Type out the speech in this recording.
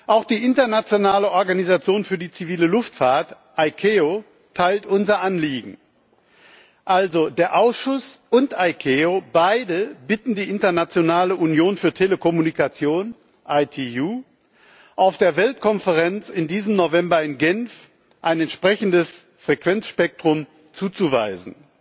Auch die Internationale Organisation für die zivile Luftfahrt ICAO teilt unser Anliegen. Der Ausschuss und ICAO bitten also beide die Internationale Union für Telekommunikation ITU, auf der Weltkonferenz in diesem November in Genf ein entsprechendes Frequenzspektrum zuzuweisen.